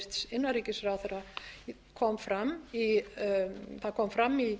fram til hæstvirts innanríkisráðherra það kom fram í